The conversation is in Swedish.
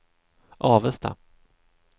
Avesta